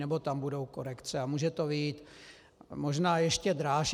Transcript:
Nebo tam budou korekce a může to vyjít možná ještě dráž.